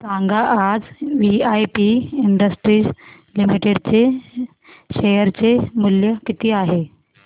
सांगा आज VIP industries limited चे शेअर चे मूल्य किती आहे